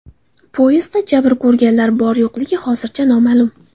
Poyezdda jabr ko‘rganlar bor-yo‘qligi hozircha noma’lum.